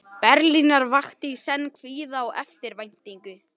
Berlínar vakti í senn kvíða og eftirvæntingu.